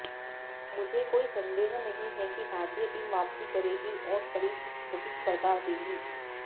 मुझे कोई संदेह नहीं है कि भारतीय टीम वापसी करेगी और कड़ी प्रतिस्पर्धा देगी